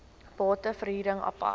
bate verhuring apart